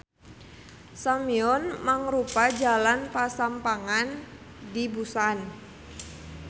Seomyeon mangrupa jalan pasampangan di Busan.